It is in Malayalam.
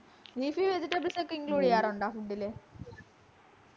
leafy vegetables ഒക്കെ include ചെയ്യാറുണ്ടോ food ലു